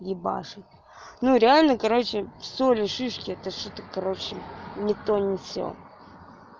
ебашит ну реально короче соли шишки это что-то короче ни то ни сё